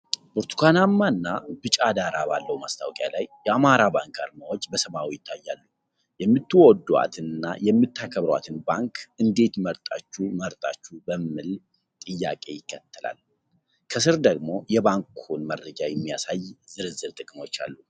ብርቱካናማ እና ቢጫ ዳራ ባለው ማስታወቂያ ላይ፣ የአማራ ባንክ አርማዎች በሰማያዊ ይታያሉ። የምትወዷት እና የምትከብሯትን ባንክ እንዴት መርጣችሁ መረጣችሁ የሚል ጥያቄ ይከተላል። ከስር ደግሞ የባንኩን መረጃ የሚያሳዩ ዝርዝር ጥቅሞች አሉ።